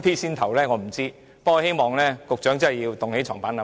不過，我希望局長好好作出檢討。